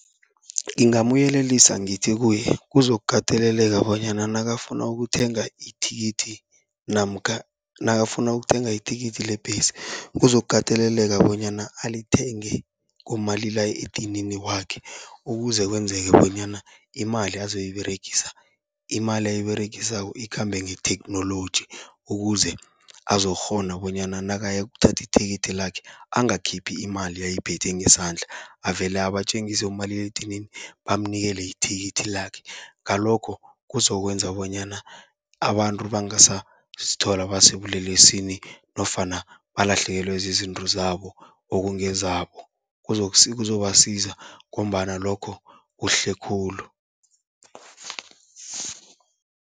Ngingamyelelisa ngithi kuye kuzokukateleleka bonyana nakafuna ukuthenga ithikithi, namkha nakafuna ukuthenga ithikithi lebhesi, kuzokukateleleka bonyana alithenge ngomalila edinini wakhe. Ukuze kwenzeke bonyana imali azoyiberegisa, imali ayiberegisako ikhambe ngetheknoloji, ukuze azokukghona bonyana nakayokuthatha ithikithi lakhe angakhiphi imali ayiphethe ngesandla, avele abatjengise umaliledinini bamnikele ithikithi lakhe. Ngalokho kuzokwenza bonyana abantu bangasazithola basebulelesini nofana balahlekelwe zizinto zabo, okungezabo kuzobasiza ngombana lokho kuhle khulu.